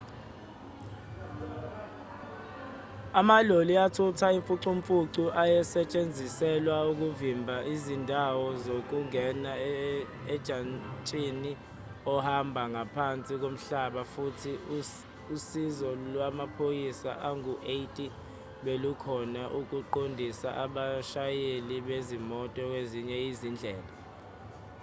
amaloli athutha imfucumfucu ayesetshenziselwa ukuvimba izindawo zokungena ojantshini ohamba ngaphansi komhlaba futhi usizo lwamaphoyisa angu-80 belukhona ukuqondisa abashayeli bezimoto kwezinye izindlela